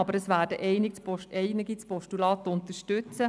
Trotzdem werden einige von uns das Postulat unterstützen.